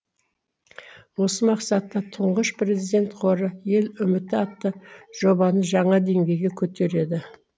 осы мақсатта тұңғыш президент қоры ел үміті атты жобаны жаңа деңгейге көтереді